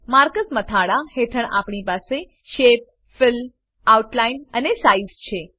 marker મથાળા હેઠળ આપણી પાસે શેપ ફિલ આઉટલાઇન અને સાઇઝ છે